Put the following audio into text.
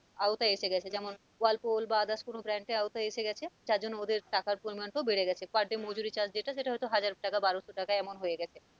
আওতায় আসে গেছে যেমন whilepool বা others কোন brand এর আওতায় এসে গেছে যার জন্য ওদের টাকার পরিমানটাও বাড়ে গেছে per day মজুরি charge যেটা সেটা হয়তো হাজার টাকা, বারোশো টাকা এমন হয়ে গেছে।